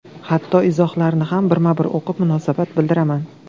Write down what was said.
Hatto izohlarini ham birma-bir o‘qib, munosabat bildiraman.